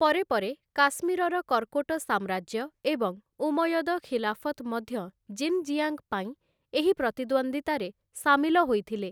ପରେ ପରେ, କାଶ୍ମୀରର କର୍କୋଟ ସାମ୍ରାଜ୍ୟ ଏବଂ ଉମୟଦ ଖିଲାଫତ୍‌ ମଧ୍ୟ ଜିନ୍‌ଜିଆଙ୍ଗ୍‌ ପାଇଁ ଏହି ପ୍ରତିଦ୍ୱନ୍ଦ୍ୱିତାରେ ସାମିଲ ହୋଇଥିଲେ ।